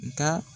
Nka